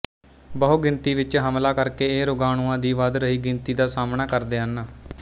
ਬਹੁਗਿਣਤੀ ਵਿੱਚ ਹਮਲਾ ਕਰਕੇ ਇਹ ਰੋਗਾਣੂਆਂ ਦੀ ਵਧ ਰਹੀ ਗਿਣਤੀ ਦਾ ਸਾਹਮਣਾ ਕਰਦੇ ਹਨ